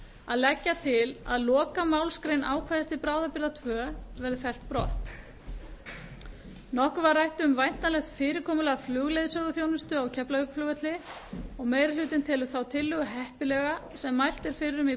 að leggja til að lokamálsgrein ákvæðis til bráðabirgða tvö verði fellt brott nokkuð var rætt um væntanlegt fyrirkomulag flugleiðsöguþjónustu á keflavíkurflugvelli og meiri hlutinn telur þá tillögu heppilega sem mælt er fyrir um í